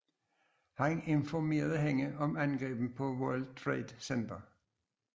Han informerede hende om angrebene på World Trade Center